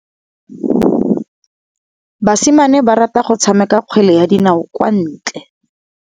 Basimane ba rata go tshameka kgwele ya dinaô kwa ntle.